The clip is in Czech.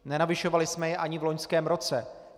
Nenavyšovali jsme je ani v loňském roce.